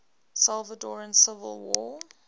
salvadoran civil war